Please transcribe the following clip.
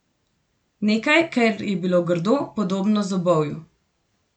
Nekaj, kar je bilo grdo podobno zobovju.